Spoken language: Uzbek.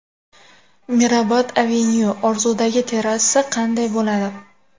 Mirabad Avenue: Orzudagi terrasa qanday bo‘ladi?.